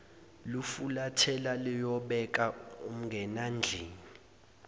lufulathela luyobeka umngenandlini